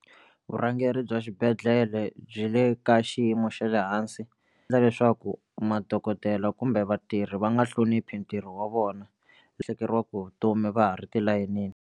Vurhangeri bya xibedhlele byi le ka xiyimo xa le hansi leswaku madokodela kumbe vatirhi va nga hloniphi ntirho wa vona lahlekeriwaka hi vutomi va ha ri tilayinini.